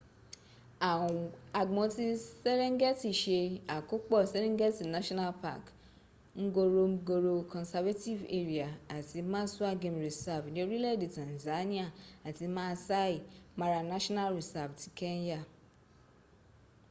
agbon ti serengeti se akopo serengeti national park ngoromgoro conservative area ati maswa game reserve ni orile'de tanzania ati maasai mara national reserve ti kenya